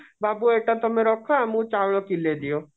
ବାବୁ ଏଇଟା ତମେ ରଖ ଆମକୁ ଚାଉଳ କିଲେ ଦିଅ